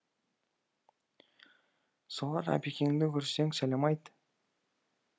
солар әбекеңді көрсең сәлем айт